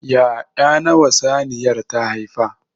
Ya'ya nawa saniyar ta haifa?